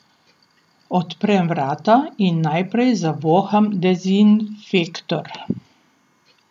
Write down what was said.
Odprem vrata in najprej zavoham dezinfektor.